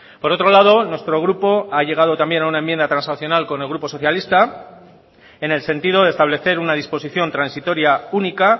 por otro lado nuestro grupo ha llegado también a una enmienda transaccional con el grupo socialista en el sentido de establecer una disposición transitoria única